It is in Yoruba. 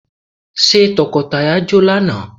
Ṣé tọkọ tìyàwó jó lánàá?